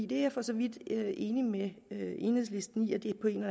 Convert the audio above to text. det er jeg for så vidt enig med enhedslisten i at det på en